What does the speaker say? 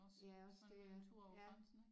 Ja også det ja ja